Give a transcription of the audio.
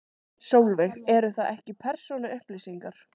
Sólveig: Eru það ekki persónuupplýsingar?